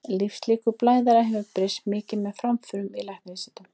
Lífslíkur blæðara hafa breyst mikið með framförum í læknavísindum.